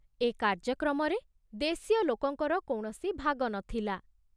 ଏ କାର୍ଯ୍ୟକ୍ରମରେ ଦେଶୀୟ ଲୋକଙ୍କର କୌଣସି ଭାଗ ନ ଥିଲା।